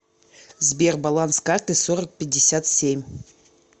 сбер баланс карты сорок пятьдесят семь